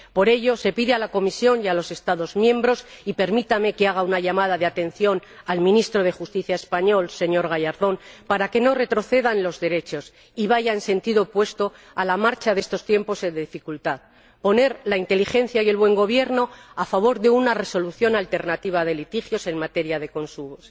Por ello se pide a la Comisión y a los Estados miembros y permítame que haga una llamada de atención al Ministro de Justicia español, señor Gallardón, para que no retroceda en los derechos y vaya en sentido opuesto a la marcha de estos tiempos de dificultad que pongan la inteligencia y el buen gobierno a favor de una resolución alternativa de litigios en materia de consumo.